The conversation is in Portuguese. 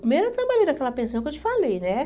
Primeiro eu trabalhei naquela pensão que eu te falei, né?